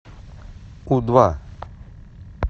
у два